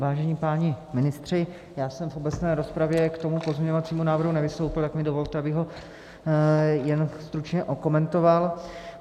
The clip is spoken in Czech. Vážení páni ministři, já jsem v obecné rozpravě k tomu pozměňovacímu návrhu nevystoupil, tak mi dovolte, abych ho jen stručně okomentoval.